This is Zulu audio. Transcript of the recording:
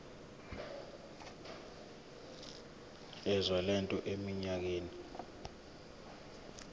yezwe lethu eminyakeni